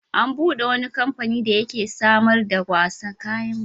An buɗe wani kamfani da yake samar da kayan wasan yara.